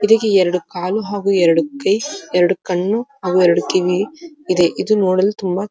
ಇದಕ್ಕೆ ಎರಡು ಕಾಲು ಹಾಗು ಎರಡು ಕೈ ಎರಡು ಕಣ್ಣು ಅವು ಎರಡು ಕಿವಿ ಇದೆ ಇದು ನೋಡಲು ತುಂಬಾ --